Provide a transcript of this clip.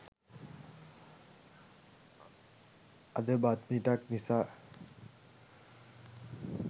අද බත් මිටක් නිසා